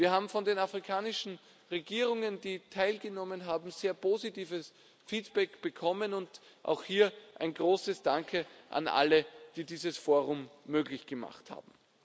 Wir haben von den afrikanischen Regierungen, die teilgenommen haben, ein sehr positives Feedback bekommen und auch hier ein großes Danke an alle, die dieses Forum möglich gemacht haben.